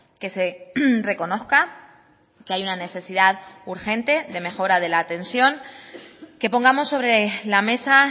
que se reconozca que hay una necesidad urgente de mejora de la atención que pongamos sobre la mesa